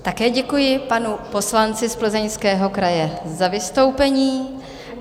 Také děkuji panu poslanci z Plzeňského kraje za vystoupení.